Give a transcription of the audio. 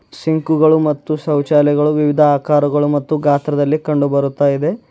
ಸಿಂಕುಗಳು ಮತ್ತು ಶೌಚಾಲಯಗಳು ವಿವಿಧ ಆಕಾರಗಳು ಮತ್ತು ಗಾತ್ರದಲ್ಲಿ ಕಂಡು ಬರುತ್ತಾ ಇದೆ.